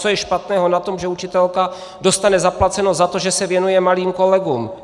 Co je špatného na tom, že učitelka dostane zaplaceno za to, že se věnuje malým kolegům?